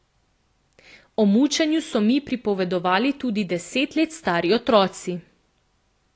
O mučenju so mi pripovedovali tudi deset let stari otroci.